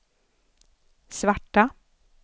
svarta